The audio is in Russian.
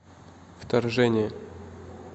вторжение